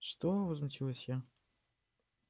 что возмутилась я